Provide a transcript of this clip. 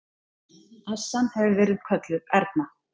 Assan hefur verið kölluð Erna.